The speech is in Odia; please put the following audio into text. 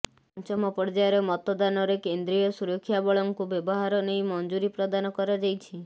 ପଂଚମ ପର୍ୟ୍ୟାୟର ମତଦାନରେ କେନ୍ଦ୍ରୀୟ ସୁରକ୍ଷା ବଳଙ୍କୁ ବ୍ୟବହାର ନେଇ ମଂଜୁରୀ ପ୍ରଦାନ କରାଯାଇଛି